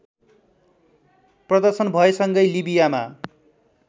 प्रदर्शन भएसँगै लिबियामा